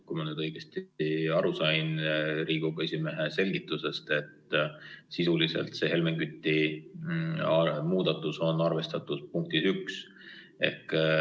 Kui ma nüüd õigesti aru sain Riigikogu esimehe selgitusest, et sisuliselt Helmen Küti muudatusettepanek on arvestatud punktis 1.